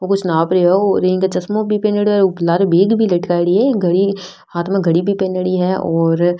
वो कुछ नाप रहे है चश्मों बह पहन रा है और एक बेग भी लटकाएड़ी है घडी हाथ में घडी भी पेहेनेडी है और --